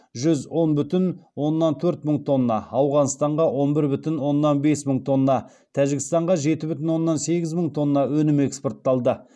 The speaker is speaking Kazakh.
жүз он бүтін оннан төрт мың тонна ауғанстанға он бір бүтін оннан бес мың тонна тәжікстанға жеті бүтін оннан сегіз мың тонна өнім экспортталды